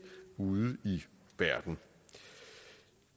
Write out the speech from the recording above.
ude i verden